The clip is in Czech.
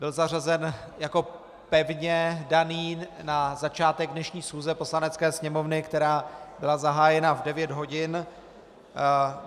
Byl zařazen jako pevně daný na začátek dnešní schůze Poslanecké sněmovny, která byla zahájena v 9 hodin.